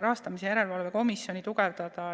Rahastamise Järelevalve Komisjoni tugevdada.